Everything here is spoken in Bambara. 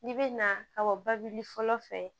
N'i bɛ na ka bɔ babili fɔlɔ fɛ